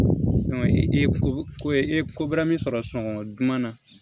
i ye ko ko i ye ko bɛɛ min sɔrɔ sunɔgɔ duman na